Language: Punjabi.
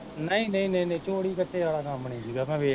ਨਈ ਨਈ ਨਈ ਚੋਰੀ ਚਜੇ ਆਲਾ ਕੰਮ ਨੀ ਸੀਗਾ ਮੈਂ ਵੇਖ ਕੇ